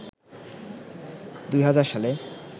২০০০ সালে